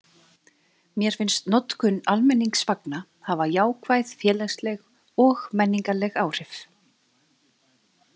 Mér finnst notkun almenningsvagna hafa jákvæð félagsleg og menningarleg áhrif.